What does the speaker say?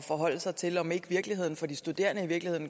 forholde sig til om ikke virkeligheden for de studerende